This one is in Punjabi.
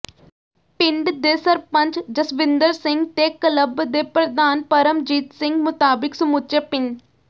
ਪਿੰਡ ਦੇ ਸਰਪੰਚ ਜਸਵਿੰਦਰ ਸਿੰਘ ਤੇ ਕਲੱਬ ਦੇ ਪ੍ਰਧਾਨ ਪਰਮਜੀਤ ਸਿੰਘ ਮੁਤਾਬਿਕ ਸਮੁੱਚੇ ਪਿੰ